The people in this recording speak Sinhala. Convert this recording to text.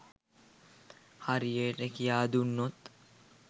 හරියට කියා දුන්නොත්